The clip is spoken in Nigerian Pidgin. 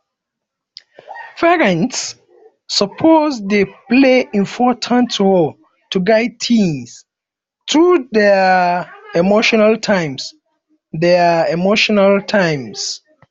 parents suppose dey play important role to guide teens through dier emotional times dier emotional times